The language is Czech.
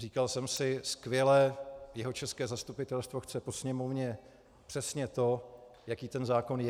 Říkal jsem si skvěle, jihočeské zastupitelstvo chce po Sněmovně přesně to, jaký ten zákon je.